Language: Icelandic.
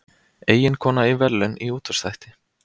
Eiginkona í verðlaun í útvarpsþætti